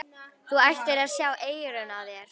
Þú ættir að sjá eyrun á þér!